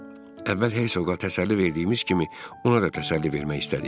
Əvvəl Hersoqa təsəlli verdiyimiz kimi ona da təsəlli vermək istədik.